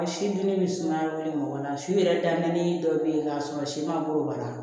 Si dunni bɛ sumaya bilen mɔgɔ la su yɛrɛ dalen dɔ bɛ yen k'a sɔrɔ si ma bolo wala